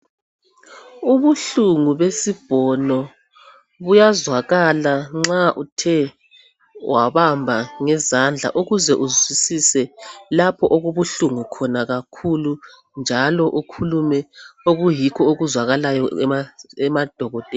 Ubuhlungu besibhono buyazwakala nxa uthe wabamba ngezandla ukuze uzwisise lapha okubuhlungu khona kakhulu njalo ukhulume okuyikho okuzwakalayo emadokoteleni.